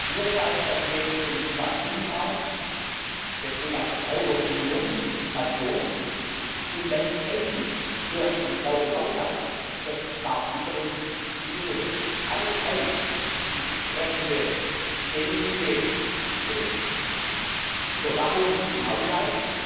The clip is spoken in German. Mir scheint, dass neben dem Thema Binnenmarkt das Thema Verbraucherbildung und information und dann Technik für den Verbraucher im Haushalt Stichwort smart metering hinzugehört. Alle drei die entsprechende ständige Überwachung im Haushalt,